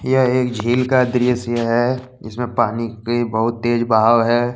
यह एक झील का दृश्य है जिसमे पानी के बहुत तेज बहाव है।